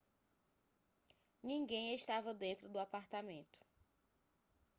ninguém estava dentro do apartamento